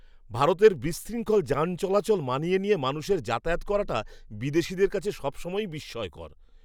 ভারতের বিশৃঙ্খল যান চলাচল মানিয়ে নিয়ে মানুষের যাতায়াত করাটা বিদেশীদের কাছে সবসময়ই বিস্ময়কর।